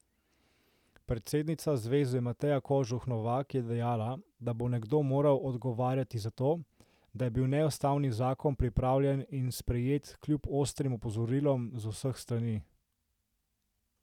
Predsednica zveze Mateja Kožuh Novak je dejala, da bo nekdo moral odgovarjati za to, da je bil neustavni zakon pripravljen in sprejet kljub ostrim opozorilom z vseh strani.